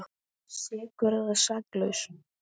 Sekur eða saklaus?